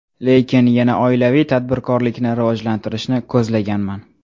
Lekin yana oilaviy tadbirkorlikni rivojlantirishni ko‘zlaganman.